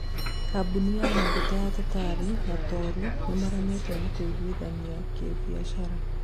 kambũni ya maguta ya Totari na Turo nĩmararemwo nĩ kũiguithania kibiashara